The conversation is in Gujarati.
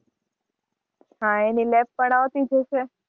હાં એની lab પણ આવતી જ હશે.